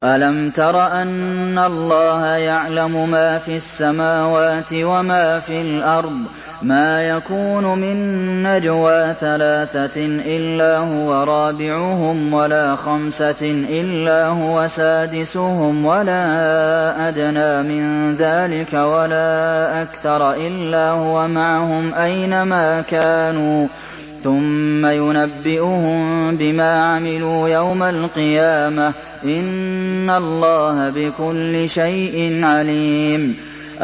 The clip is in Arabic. أَلَمْ تَرَ أَنَّ اللَّهَ يَعْلَمُ مَا فِي السَّمَاوَاتِ وَمَا فِي الْأَرْضِ ۖ مَا يَكُونُ مِن نَّجْوَىٰ ثَلَاثَةٍ إِلَّا هُوَ رَابِعُهُمْ وَلَا خَمْسَةٍ إِلَّا هُوَ سَادِسُهُمْ وَلَا أَدْنَىٰ مِن ذَٰلِكَ وَلَا أَكْثَرَ إِلَّا هُوَ مَعَهُمْ أَيْنَ مَا كَانُوا ۖ ثُمَّ يُنَبِّئُهُم بِمَا عَمِلُوا يَوْمَ الْقِيَامَةِ ۚ إِنَّ اللَّهَ بِكُلِّ شَيْءٍ عَلِيمٌ